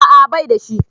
A'a baida shi